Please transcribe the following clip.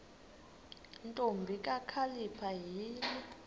ntombi kakhalipha yini